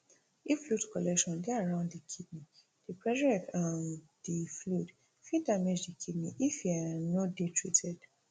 if fluid collection dey around di kidney di pressure of um di fluid fit damage di kidney if e um no dey treated